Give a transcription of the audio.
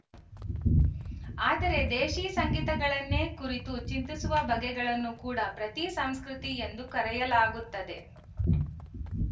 ಆದರೆ ದೇಶೀ ಸಂಗತಿಗಳನ್ನೇ ಕುರಿತು ಚಿಂತಿಸುವ ಬಗೆಗಳನ್ನು ಕೂಡ ಪ್ರತಿ ಸಂಸ್ಕೃತಿ ಎಂದು ಕರೆಯಲಾಗುತ್ತದೆ